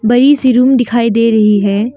और A C room दिखाई दे रही है।